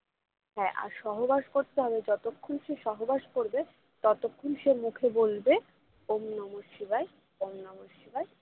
হ্যাঁ আর সহবাস করতে হবে যতক্ষণ সে সহবাস করবে ততক্ষন সে মুখে বলবে ওঁম নমঃ শিবায় ওঁম নমঃ শিবায়